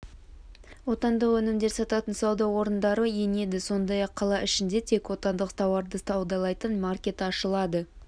отандық өнімдер сататын сауда орындары енеді сондай-ақ қала ішінде тек отандық тауарды саудалайтын маркеті ашылады